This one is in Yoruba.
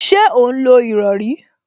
Ṣé ó ń lo ìrọrí?